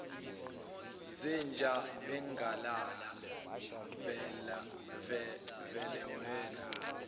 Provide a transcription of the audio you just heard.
zenja ungalala velewena